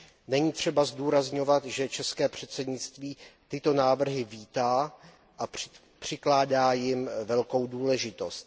Není třeba zdůrazňovat, že české předsednictví tyto návrhy vítá a přikládá jim velkou důležitost.